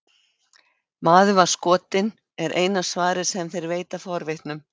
Maður var skotinn, er eina svarið sem þeir veita forvitnum.